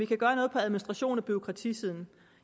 kan gøre noget på administrations og bureaukratisiden